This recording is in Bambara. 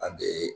An bɛ